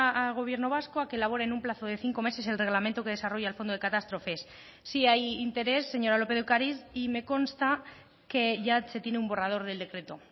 al gobierno vasco a que elabore en un plazo de cinco meses el reglamento que desarrolla el fondo de catástrofes sí hay interés señora lópez de ocariz y me consta que ya se tiene un borrador del decreto